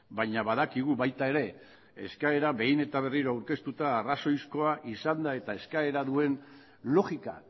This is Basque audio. baina badakigu baita ere eskaera behin eta berriro aurkeztuta arrazoizkoa izanda eta eskaera duen logika